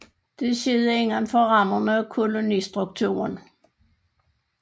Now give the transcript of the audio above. Det skete inden for rammerne af kolonistrukturen